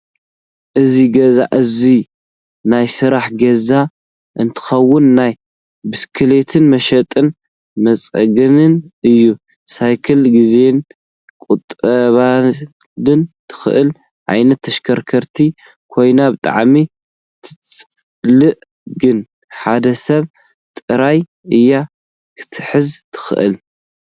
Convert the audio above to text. እዚ ገዛ እዙይ ናይ ስራሕ ገዛ እንትከውን ናይ ብስክሌት መሸጥን መፅገን እዩ። ሳይክል ግዜና ክትቁጥበልና ትኽእል ዓይነት ተሽካርካሪት ኮይና ብጣዕሚ ተፅልእ ግን ሓደ ሰብ ጥራሕ እያ ክትሕዝ ትክእል።